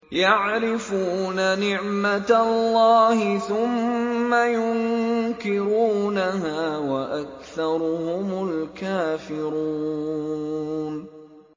يَعْرِفُونَ نِعْمَتَ اللَّهِ ثُمَّ يُنكِرُونَهَا وَأَكْثَرُهُمُ الْكَافِرُونَ